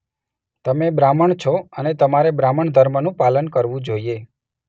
તમે બ્રાહ્મણ છો અને તમારે બ્રાહ્મણધર્મનું પાલન કરવું જોઇયે.